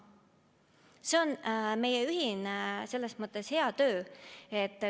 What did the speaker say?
See on selles mõttes meie ühine hea töö.